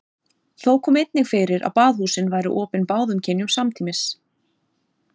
Þó kom einnig fyrir að baðhúsin væru opin báðum kynjum samtímis.